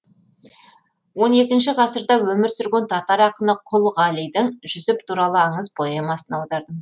он екінші ғасырда өмір сүрген татар ақыны құл ғалидың жүсіп туралы аңыз поэмасын аудардым